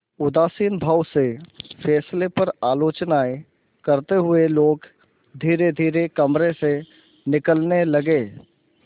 उदासीन भाव से फैसले पर आलोचनाऍं करते हुए लोग धीरेधीरे कमरे से निकलने लगे